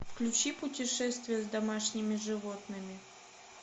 включи путешествие с домашними животными